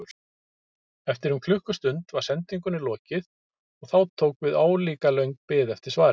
Eftir um klukkustund var sendingunni lokið og þá tók við álíka löng bið eftir svari.